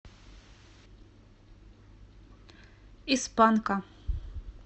из панка